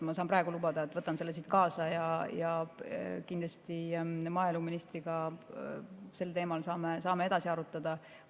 Ma saan praegu lubada, et võtan selle siit kaasa ja maaeluministriga sel teemal saame kindlasti edasi arutada.